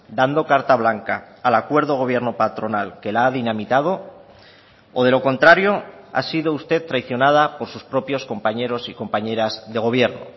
dando carta blanca al acuerdo gobierno patronal que la ha dinamitado o de lo contrario ha sido usted traicionada por sus propios compañeros y compañeras de gobierno